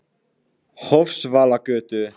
Hofsvallagötu